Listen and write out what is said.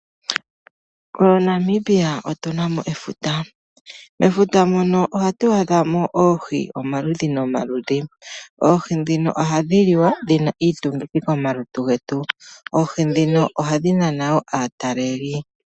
MoNamibia otuna mo efuta, mefuta muno ohatu adha mo oohi omaludhi noma ludhi oohi ndhino ohadhi liwa dhina iitungithi komalutu getu. Oohi ndhino ohadhi nana aataleli.